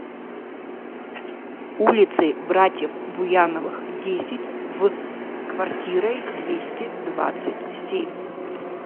улицей братьев буяновых десять в квартирой двести двадцать семь